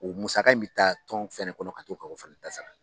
O musaka in bɛ ta tɔn fɛnɛ kɔnɔ ka to ka o fɛnɛ ta sara